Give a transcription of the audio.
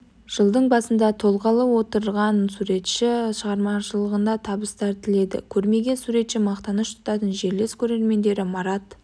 жылдың басында толғалы отырған суретші шығармашылығына табыстар тіледі көрмеге суретші мақтаныш тұтатын жерлес көрермендері марат